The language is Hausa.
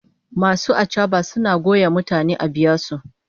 Masu achaba suna goya mutane a biya su